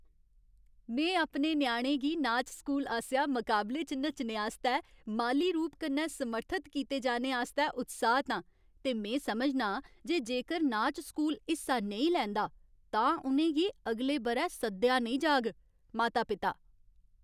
में अपने ञ्याणे गी नाच स्कूल आसेआ मकाबले च नच्चने आस्तै माली रूप कन्नै समर्थत कीते जाने आस्तै उत्साहत आं ते में समझनां जे जेकर नाच स्कूल हिस्सा नेईं लैंदा, तां उ'नें गी अगले ब'रै सद्देआ नेईं जाग। माता पिता